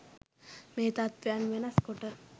මේ තත්ත්වයන් වෙනස් කොට